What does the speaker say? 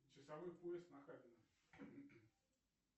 часовой пояс нахабино